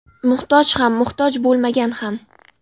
Muhtoj ham, muhtoj bo‘lmagan ham.